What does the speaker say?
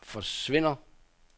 forsvinder